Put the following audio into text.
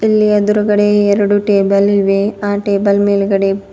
ಇಲ್ಲಿ ಎದುರುಗಡೆ ಎರಡು ಟೇಬಲ್ ಇವೆ ಆ ಟೇಬಲ್ ಮೇಲ್ಗಡೆ --